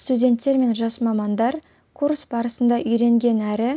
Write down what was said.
студенттер мен жас мамандар курс барысында үйренген әрі